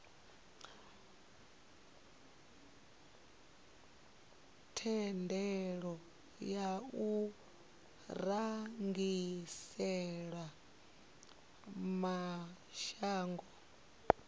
thendelo ya u rengisela mashango